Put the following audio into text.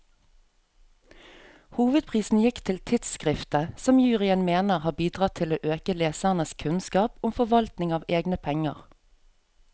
Hovedprisen gikk til tidskriftet, som juryen mener har bidratt til å øke lesernes kunnskap om forvaltning av egne penger.